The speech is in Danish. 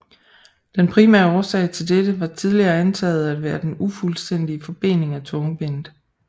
Den primære årsag til dette var tidligere antaget at være den ufuldstændige forbening af tungebenet